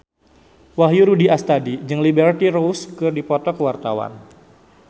Wahyu Rudi Astadi jeung Liberty Ross keur dipoto ku wartawan